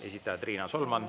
Esitajad Riina Solman …